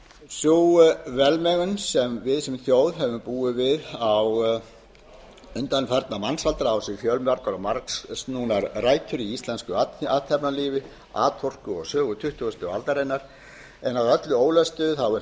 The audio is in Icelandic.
sú velmegun sem við sem þjóð höfum búið við undanfarna mannsaldra á sér því fjölmargar og margsnúnar rætur í útlendu athafnalífi atorku og sögu tuttugustu aldarinnar en að öllu ólöstuðu er